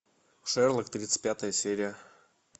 шерлок тридцать пятая серия